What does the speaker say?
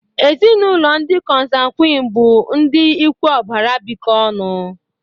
Ezinaụlọ ndị Consanguine bụ ndị ikwu ọbara bikọ ọnụ.